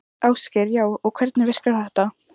Ásgeir: Já, og hvernig virkar þetta?